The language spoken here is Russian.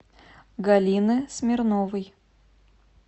галины смирновой